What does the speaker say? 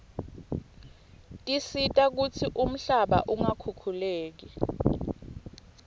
tisita kutsi umhlaba ungakhukhuleki